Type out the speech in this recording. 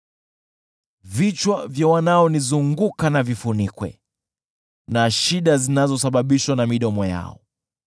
Vichwa vya wanaonizunguka vifunikwe na shida zinazosababishwa na midomo yao.